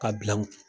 Ka bila n kun